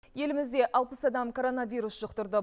елімізде алпыс адам коронавирус жұқтырды